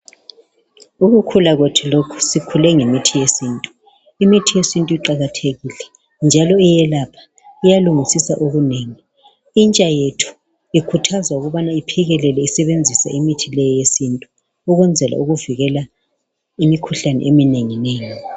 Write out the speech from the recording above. Ukukhula kwethu lokhu sikhule ngemithi yesintu. Imithi yesintu iqalathekile njalo iyelapha, iyalungisisa okunengi. Intsha yethu ikhuthazwa ukubana iphikelele isebenzisa imithi le yesintu ukwenzela ukuvikela imikhuhlane eminenginengi.